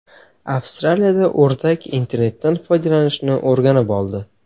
Avstraliyada o‘rdak internetdan foydalanishni o‘rganib oldi.